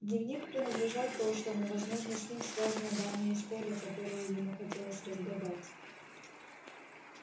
дневник принадлежал прошлому возможно с ним связана давняя история которую ему хотелось разгадать